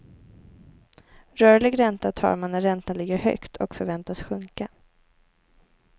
Rörlig ränta tar man när räntan ligger högt och förväntas sjunka.